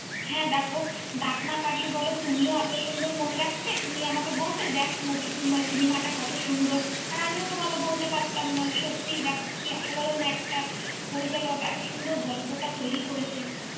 হ্যাঁ, দেখো দাগ না কাটলে বলো তুমিও এত সুন্দর মনে রাখতে? তুমি আমাকে বলতে, দেখ cinema টা কত সুন্দর? আর আমি তোমাকে বলতে পারতাম না সত্যি যাক কী অসাধারণ একটা পরিচালক এত সুন্দর গল্পটা তৈরি করেছেন।